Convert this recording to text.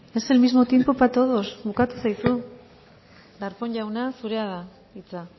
es el mismo tiempo para todos bukatu zaizu darpón jauna zurea da hitza